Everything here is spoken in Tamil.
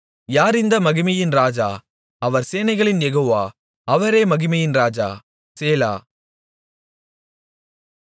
யார் இந்த மகிமையின் இராஜா அவர் சேனைகளின் யெகோவா அவரே மகிமையின் இராஜா சேலா